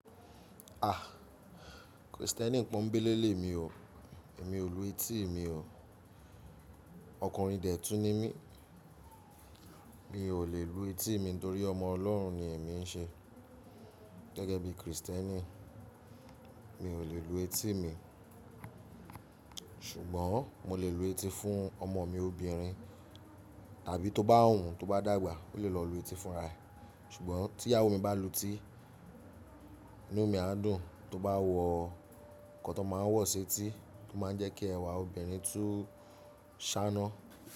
A! Kristẹni pọnńbélé lémi o, èmi ò lu etí mi o. Ọkùnrin dẹ́tùn ni mí, mi ò lè lu etí mi nítorí ọmọ Ọlọ́run ni èmi ń ṣe. Gẹ́gẹ́ bí Kristẹni mi ò lè lu etí mi, ṣùgbọ́n mo lè lu etí fún ọmọ mi obìnrin tàbí tó bá hun tó bá dàgbà ó lè lọ lu etí fún ara ẹ. Ṣùgbọ́n tí ìyàwó mi bá lu etí, inú mi á dùn. Tó bá wọ nǹkan tó máa ń wọ̀ ṣ'etí o máa ń jẹ́ kí ẹwà obìnrin tún ṣáná.